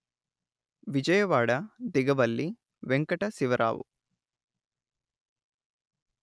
Vijayawada Digavalli Venkata Sivarao